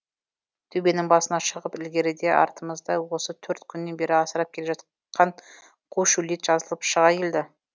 төбенің басына шығып ілгеріде артымызда осы төрт күннен бері асырып келе жатқан қу шөлейт жазылып шыға келді